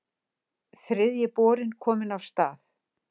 Þriðji borinn kominn af stað